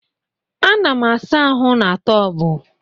Ana m asa ahụ na tọọbụ